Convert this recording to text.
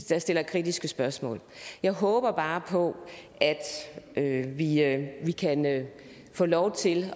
der stiller kritiske spørgsmål jeg håber bare på at vi at vi kan få lov til